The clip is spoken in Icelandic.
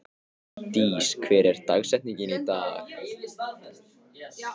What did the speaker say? Dís, hver er dagsetningin í dag?